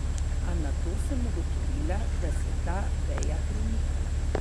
A nato sem ugotovila, da se ta veja premika.